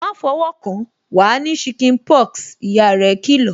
"Ma fọwọ́ kan, wa ní chicken pox" ìyá rẹ kì lọ̀